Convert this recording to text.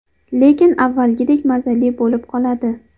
Lekin avvalgidek mazali bo‘lib qoladi.